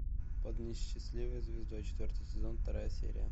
под несчастливой звездой четвертый сезон вторая серия